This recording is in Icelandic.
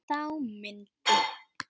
Þá myndi